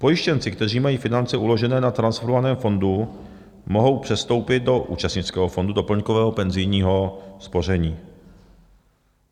Pojištěnci, kteří mají finance uložené na transformovaném fondu, mohou přestoupit do účastnického fondu doplňkového penzijního spoření.